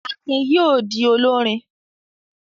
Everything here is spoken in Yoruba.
Akin yóò di olórin.